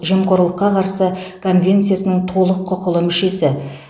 жемқорлыққа қарсы конвенциясының толық құқылы мүшесі